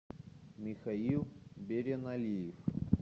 михаил береналиев